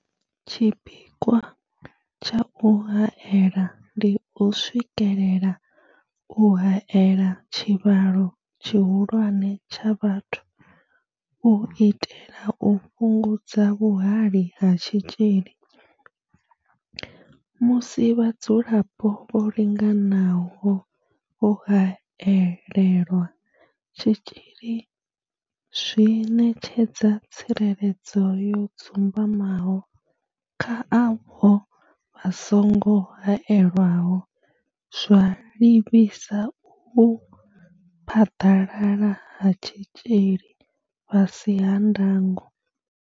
Tshipikwa tsha u haela ndi u swikelela u haela tshivhalo tshihulwane tsha vhathu u itela u fhungudza vhuhali ha tshitzhili musi vhadzulapo vho linganaho vho haelelwa tshitzhili zwi ṋetshedza tsireledzo yo dzumbamaho kha avho vha songo haelwaho, zwa livhisa u phaḓalala ha tshitzhili fhasi ha ndango.